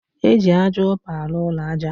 Eji ájá upa alu ụlọ aja